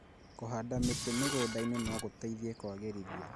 Kũhanda mĩtĩ mĩgũnda-inĩ no gũteithie kwagĩrĩrithia